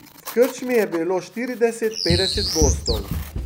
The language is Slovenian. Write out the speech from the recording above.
V krčmi je bilo štirideset, petdeset gostov.